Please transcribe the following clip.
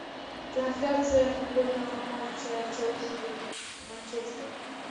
трансляция футбольного матча челси манчестер